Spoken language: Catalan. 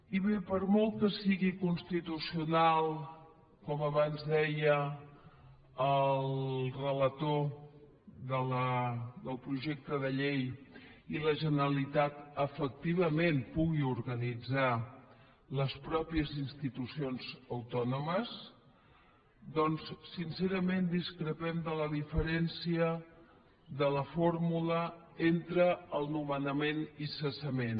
i bé per molt que sigui constitucional com abans deia el relator del projecte de llei i la generalitat efectivament pugui organitzar les pròpies institucions autònomes doncs sincerament discrepem de la diferència de la fórmula entre el nomenament i cessament